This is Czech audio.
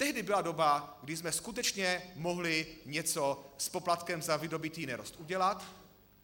Tehdy byla doba, kdy jsme skutečně mohli něco s poplatkem za vydobytý nerost udělat.